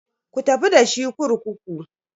Ku tafi da shi kurkuku.